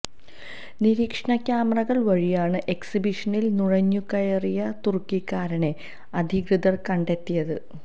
നിരീക്ഷണ ക്യാമറകള് വഴിയാണ് എക്സിബിഷനില് നുഴഞ്ഞുകയറിയ തുര്ക്കിക്കാരനെ അധികൃതര് കണ്ടെത്തിയത്